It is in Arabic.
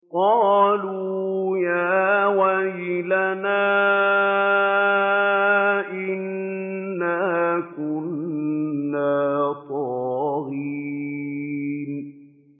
قَالُوا يَا وَيْلَنَا إِنَّا كُنَّا طَاغِينَ